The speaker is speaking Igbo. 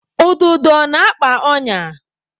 Ududo na-akpa ọnya.